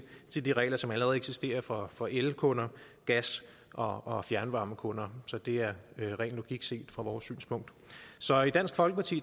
de de regler som allerede eksisterer for for elkunder gas og og fjernvarmekunder så det er ren logik set fra vores synspunkt så i dansk folkeparti